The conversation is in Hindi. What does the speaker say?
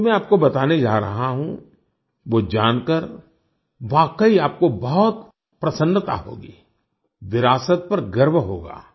अब जो मैं आपको बताने जा रहा हूँ वो जानकर वाकई आपको बहुत प्रसन्नता होगी विरासत पर गर्व होगा